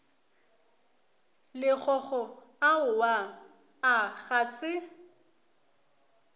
lekgokgo aowa a ga se